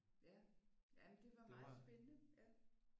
Ja jamen det var meget spændende ja